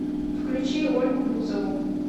включи ольгу бузову